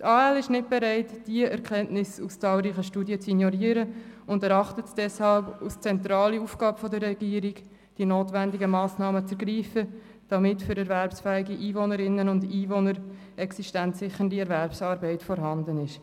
Die AL ist nicht bereit, diese Erkenntnis aus zahlreichen Studien zu ignorieren und erachtet es deshalb als zentrale Aufgabe der Regierung, die notwendigen Massnahmen zu ergreifen, damit für erwerbsfähige Einwohnerinnen und Einwohner existenzsichernde Erwerbsarbeit vorhanden ist.